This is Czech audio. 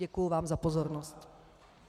Děkuji vám za pozornost.